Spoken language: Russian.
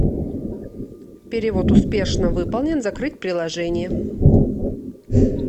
перевод успешно выполнен закрыть приложение